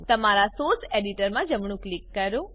તમારા સોર્સ એડિટરમાં જમણું ક્લિક કરો